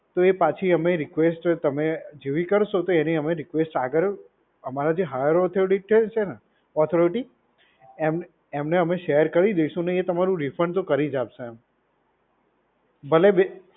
તો એ પાછી અમે રિક્વેસ્ટ તમે જેવી કરશો તો એને અમે રિક્વેસ્ટ આગળ અમારી જે હાયર ઓથોરિટી છે ને ઓથોરિટી એમ એમને શેર કરી દઈશુ અને એ તમારું રિફંડ તો કરી જ આપશે એમ. ભલે બે